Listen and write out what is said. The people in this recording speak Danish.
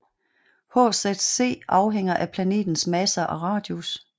HZC afhænger af planetens masse og radius